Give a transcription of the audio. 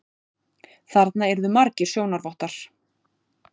Þarna yrðu margir sjónarvottar.